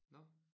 Nåh